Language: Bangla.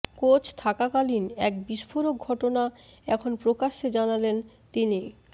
কোচ থাকালীন এক বিস্ফোরক ঘটনা এখন প্রকাশ্যে জানালেন তিনি